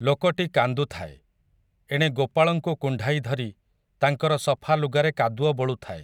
ଲୋକଟି କାନ୍ଦୁ ଥାଏ, ଏଣେ ଗୋପାଳଙ୍କୁ କୁଣ୍ଢାଇ ଧରି ତାଙ୍କର ସଫା ଲୁଗାରେ କାଦୁଅ ବୋଳୁଥାଏ ।